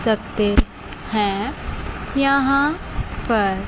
सकते हैं यहां पर--